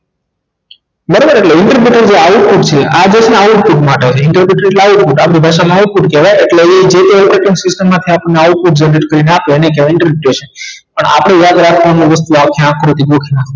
બરાબર ઍટલે interpridaeter આવું કઈક છે output માટે interprideter ઍટલે output આપણી ભાષા મા output કહેવાય ઍટલે ઇ જે તે opretining system માંથી આપણને output કરી ને આપે એને કહેવાય interpridiation પણ આપણે યાદ રાખવાનું આ વસ્તુ આ કઈક ખોટી ભૂલ છે